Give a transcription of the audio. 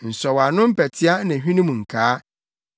nsɔwano mpɛtea ne hwenem nkaa,